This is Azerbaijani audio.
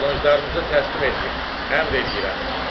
Qılınclarınızı təslim eləyin, əmr eləyirəm.